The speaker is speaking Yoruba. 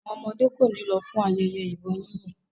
Àwọn ọmọdé kò ní lọ fún ayẹyẹ ìbọn yínyìn.